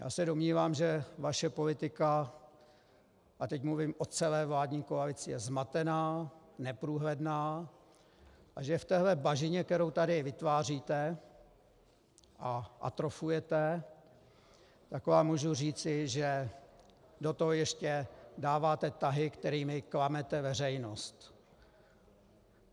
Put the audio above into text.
Já se domnívám, že vaše politika, a teď mluvím o celé vládní koalici, je zmatená, neprůhledná a že v téhle bažině, kterou tady vytváříte a atrofujete, tak vám můžu říci, že do toho ještě dáváte tahy, kterými klamete veřejnost.